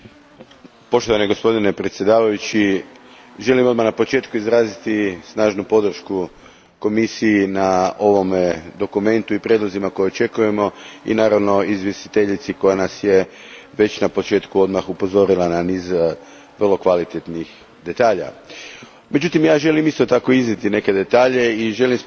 Gospodine predsjedniče, želim odmah na početku izraziti snažnu podršku Komisiji na ovome dokumentu i prijedlozima koje očekujemo i naravno izvjestiteljici koja nas je na već početku upozorila na niz vrlo kvalitetnih detalja. Međutim, i ja isto tako želim iznijeti nekoliko detalja te spomenuti da